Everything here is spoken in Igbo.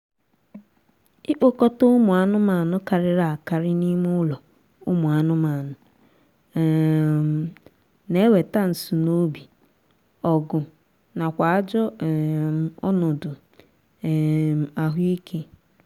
ikpokọta ụmụ anụmaanụ karịrị akarị n'ime ụlọ ụmụ anụmanụ um na-eweta nsunoobi ọgụ nakwa ajọ um ọnọdụ um ahụ ike